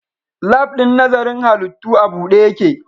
Lab ɗin nazarin halittu a buɗe yake